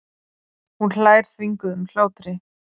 Hún hlær þvinguðum hlátri.